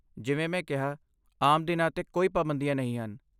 ਜਿਵੇਂ ਮੈਂ ਕਿਹਾ, ਆਮ ਦਿਨਾਂ ਤੇ ਕੋਈ ਪਾਬੰਦੀਆਂ ਨਹੀਂ ਹਨ।